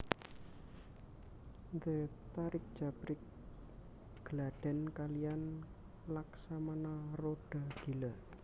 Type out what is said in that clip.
The Tarix Jabrix gladhen kaliyan Laksamana Roda Gila